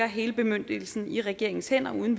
hele bemyndigelsen i regeringens hænder uden